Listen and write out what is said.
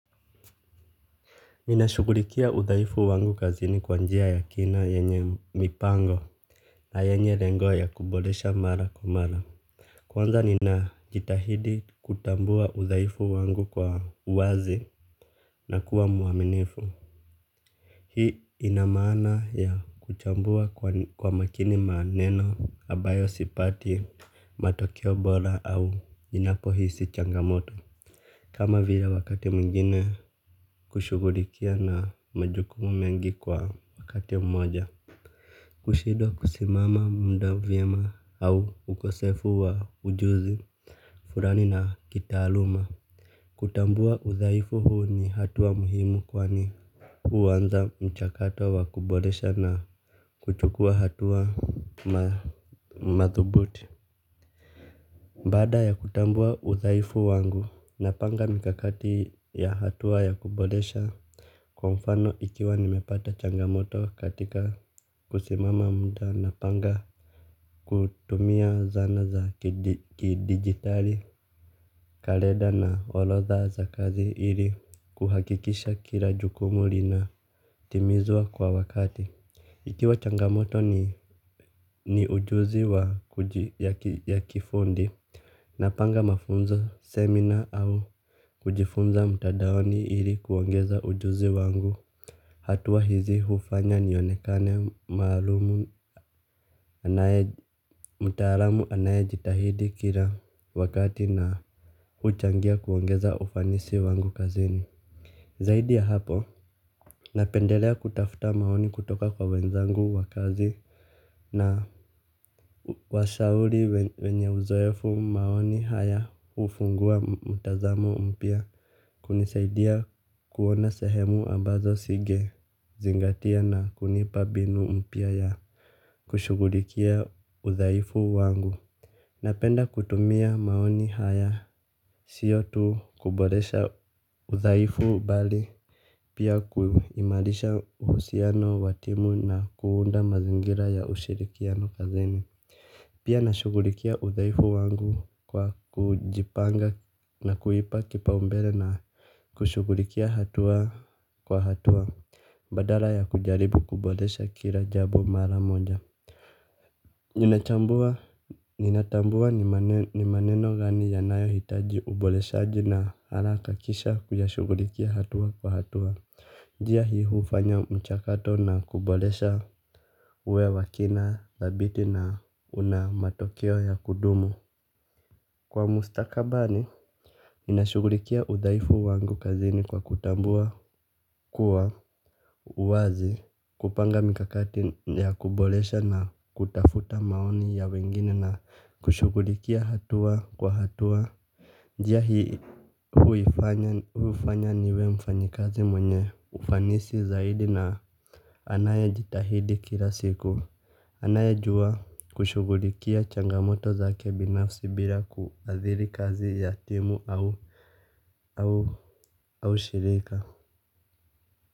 Ninashughulikia udhaifu wangu kazini kwa njia ya kina yenye mipango na yenye lengo ya kuboresha mara kwa mara kwanza ninajitahidi kutambua udhaifu wangu kwa uwazi na kuwa mwaminifu. Hii ina maana ya kuchambua kwa makini maneno ambayo sipati matokeo bora au ninapohisi changamoto kama vile wakati mwingine kushughulikia na majukumu mengi kwa wakati mmoja. Kushindwa kusimama muda vyema au ukosefu wa ujuzi fulani na kitaaluma. Kutambua udhaifu huu ni hatua muhimu kwani huanza mchakato wa kuboresha na kuchukua hatua madhubuti. Baada ya kutambua udhaifu wangu, napanga mikakati ya hatua ya kuboresha. Kwa mfano ikiwa nimepata changamoto katika kusimama muda napanga kutumia zana za kidijitali, kalenda na orodha za kazi ili kuhakikisha kila jukumu linatimizwa kwa wakati. Ikiwa changamoto ni ujuzi ya kifundi napanga mafunzo, semina au kujifunza mtandaoni ili kuongeza ujuzi wangu hatua hizi hufanya nionekane mtaalamu anayejitahidi kila wakati na huchangia kuongeza ufanisi wangu kazini zaidi ya hapo, napendelea kutafuta maoni kutoka kwa wenzangu wa kazi na washauri wenye uzoefu, maoni haya hufungua mtazamo mpya, kunisaidia kuona sehemu ambazo singezingatia na kunipa mbinu mpya ya kushughulikia udhaifu wangu napenda kutumia maoni haya sio tu kuboresha udhaifu bali pia kuimarisha uhusiano wa timu na kuunda mazingira ya ushirikiano kazini. Pia nashughulikia udhaifu wangu kwa kujipanga na kuipa kipaumbele na kushughulikia hatua kwa hatua badala ya kujaribu kuboresha kila jambo mara moja. Nintambua ni maneno gani yanayohitaji uboreshaji na kisha kuyashughulikia hatua kwa hatua njia hii hufanya mchakato na kuboresha uwe wa kina, dhabiti na una matokeo ya kudumu kwa mustakabani ninashughulikia udhaifu wangu kazini kwa kutambua kuwa uwazi kupanga mikakati ya kuboresha na kutafuta maoni ya wengine na kushughulikia hatua kwa hatua njia hufanya niwe mfanyikazi mwenye ufanisi zaidi na anayejitahidi kila siku. Anayejua kushughulikia changamoto zake binafsi bila kuadhiri kazi ya timu au shirika.